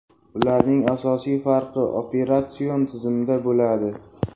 Ularning asosiy farqi operatsion tizimda bo‘ladi.